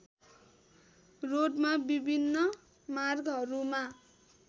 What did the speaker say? रोडमा विभिन्न मार्गहरूमा